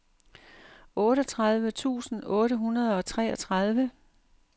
otteogtredive tusind otte hundrede og treogtredive